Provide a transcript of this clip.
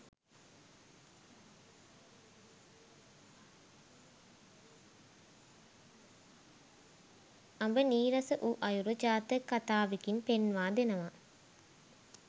අඹ නීරස වූ අයුරු ජාතක කථාවෙකින් පෙන්වා දෙනවා.